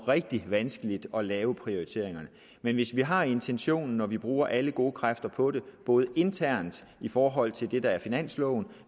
rigtig vanskeligt at lave prioriteringerne men hvis vi har intentionen og vi bruger alle gode kræfter på det både internt i forhold til det der er finansloven og